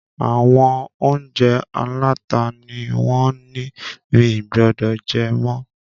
Àwọn oúnjẹ aláta ni wón ńi mì gbọdọ̀ jẹ mọ́